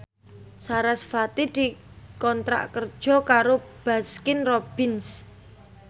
sarasvati dikontrak kerja karo Baskin Robbins